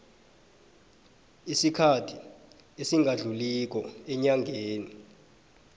isikhathi esingadluliko eenyangeni